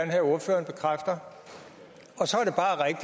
have ordføreren bekræfter